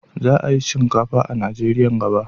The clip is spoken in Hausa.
Za a yi shinkafa a Najeriya nan gaba.